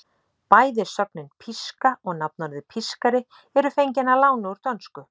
Bæði sögnin píska og nafnorðið pískari eru fengin að láni úr dönsku.